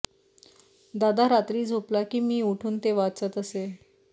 दादा रात्री झोपला की मी उठून ते वाचत असे